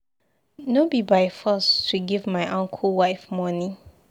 No be by force to give my uncle wife money.